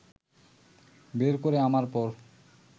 বের করে আনার পর